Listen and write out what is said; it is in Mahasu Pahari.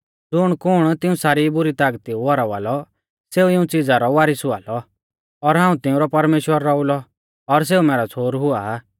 ज़ुणकुण तिऊं सारी बुरी तागती ऊ हरावा लौ सेऊ इऊं च़िज़ा रौ वारीस हुआ लौ और हाऊं तिंउरौ परमेश्‍वरा रौउलौ और सेऊ मैरौ छ़ोहरु हुआ